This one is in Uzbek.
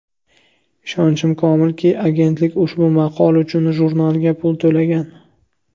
Ishonchim komilki, agentlik ushbu maqola uchun jurnalga pul to‘lagan.